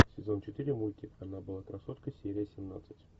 сезон четыре мультик она была красоткой серия семнадцать